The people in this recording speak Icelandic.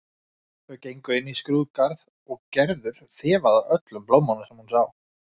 Þau gengu inn í skrúðgarð og Gerður þefaði af öllum blómum sem hún sá.